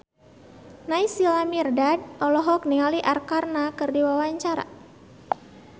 Naysila Mirdad olohok ningali Arkarna keur diwawancara